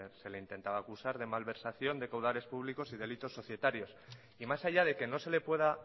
se le intentaba acusar de malversación de caudales públicos y delitos societarios y más allá de que no se le pueda